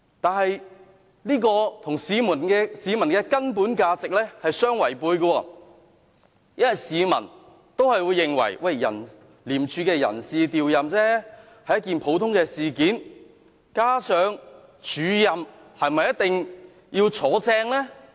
但這與市民的根本價值相違背，因為市民也會認為，廉署的人事調任是一件普通事件，加上署任是否一定會真除呢？